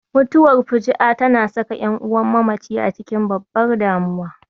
Mutuwar fuju'a tana saka ƴan'uwan mamaci a cikin babbar damuwa